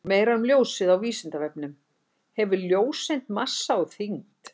Meira um ljósið á Vísindavefnum: Hefur ljóseind massa og þyngd?